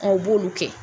Aw b'olu kɛ